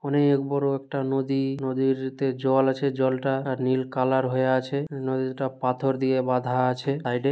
অনে-এ-ক বড়-ও একটা নদী নদীরতে জল আছে জলটা-আ নীল কালার হয়ে আছে নদীটা পাথর দিয়ে বাঁধা আছে সাইড - এ।